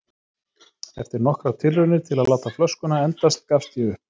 Eftir nokkrar tilraunir til að láta flöskuna endast gafst ég upp.